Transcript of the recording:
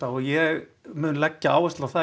og ég mun leggja áherslu á það